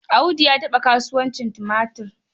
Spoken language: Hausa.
Audu ya taɓa kasuwancin tumatir.